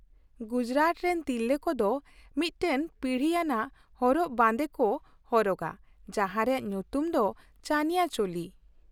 ᱜᱩᱡᱽᱨᱟᱴ ᱨᱮᱱ ᱛᱤᱨᱞᱟᱹ ᱠᱚᱫᱚ ᱢᱤᱫᱴᱟᱝ ᱯᱤᱲᱦᱤ ᱟᱱᱟᱜ ᱦᱚᱨᱚᱜ ᱵᱟᱸᱫᱮ ᱠᱚ ᱦᱚᱨᱚᱜᱟ ᱡᱟᱦᱟᱸ ᱨᱮᱭᱟᱜ ᱧᱩᱛᱩᱢ ᱫᱚ ᱪᱟᱱᱤᱭᱳ ᱪᱳᱞᱤ ᱾